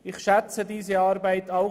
Ich schätze diese Arbeit auch.